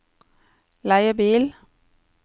leiebil